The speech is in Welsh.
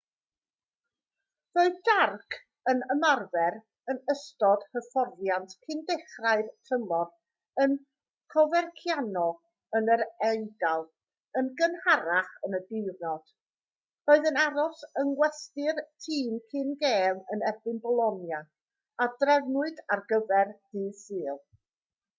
roedd jarque yn ymarfer yn ystod hyfforddiant cyn dechrau'r tymor yn coverciano yn yr eidal yn gynharach yn y diwrnod roedd yn aros yng ngwesty'r tîm cyn gêm yn erbyn bolonia a drefnwyd ar gyfer dydd sul